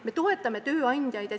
Me toetame tööandjaid.